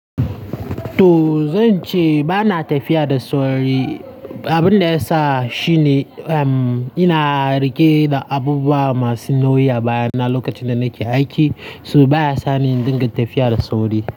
Toh zan ce ba na tafiya da sauri. Abin da ya sa shi ne, ina rike da abubuwa masu nauyi a baya na lokacin da nake aiki, so baya sa ni in dinga tafiya da sauri.